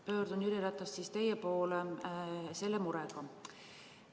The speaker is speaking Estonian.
Pöördun, Jüri Ratas, teie poole sellise murega.